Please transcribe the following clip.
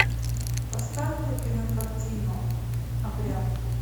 поставь ка кинокартину обряд